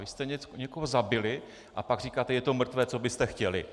Vy jste někoho zabili, a pak říkáte - je to mrtvé, co byste chtěli.